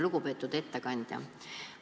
Lugupeetud ettekandja!